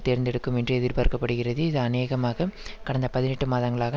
தேர்ந்தெடுக்கும் என்று எதிர்பார்க்க படுகிறது இது அநேகமாக கடந்த பதினெட்டு மாதங்களாக